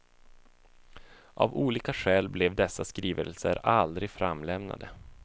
Av olika skäl blev dessa skrivelser aldrig framlämnade.